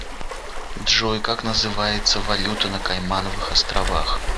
джой как называется валюта на каймановых островах